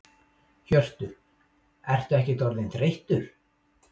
Hjörtur: Ertu ekkert orðinn þreyttur?